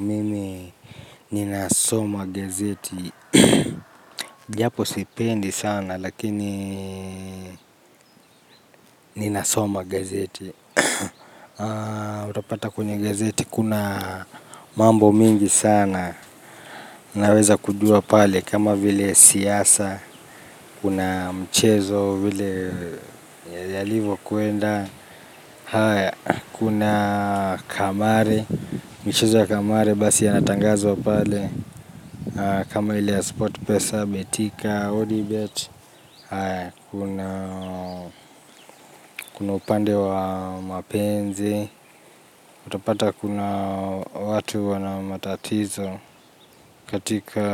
Mimi ninasoma gazeti japo sipendi sana lakini ninasoma gazeti utapata kwenye gazeti kuna mambo mingi sana naweza kujua pale kama vile siasa kuna mchezo vile yalivokwenda kuna kamari mchezo ya kamari basi yanatangazwa pale. Kama ile ya sport pesa betika, odibet, kuna upande wa mapenzi, utapata kuna watu wana matatizo katika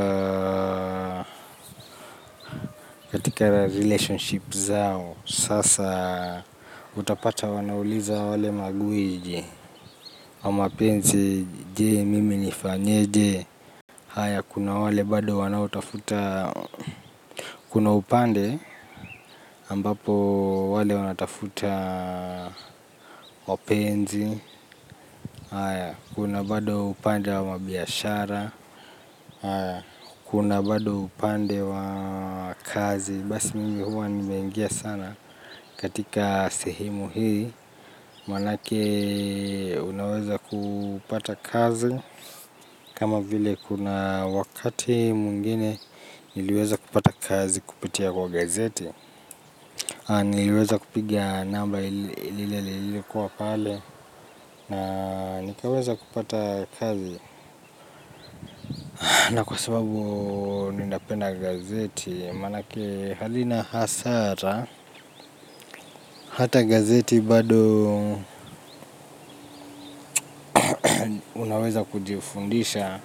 relationships zao. Sasa utapata wanauliza wale magwiji wa mapenzi je mimi nifanyeje. Kuna wale bado wanaotafuta, kuna upande ambapo wale wanatafuta mapenzi. Kuna bado upande wa mabiashara, kuna bado upande wa kazi basi mingi huwa nimeingia sana katika sehemu hii manake unaweza kupata kazi kama vile kuna wakati mwengine niliweza kupata kazi kupitia kwa gazeti niliweza kupiga namba ile kwa pale na nikaweza kupata kazi na kwa sababu ninapenda gazeti manake hazina hasara. Hata gazeti bado unaweza kujifundisha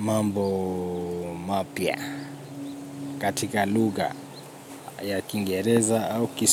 mambo mapya katika lugha ya kiingereza au kiso.